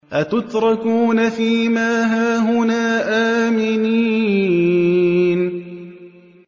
أَتُتْرَكُونَ فِي مَا هَاهُنَا آمِنِينَ